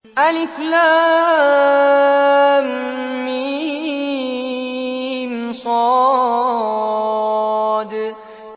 المص